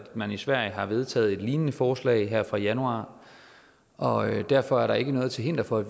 man i sverige har vedtaget et lignende forslag her fra januar og derfor er der ikke noget til hinder for at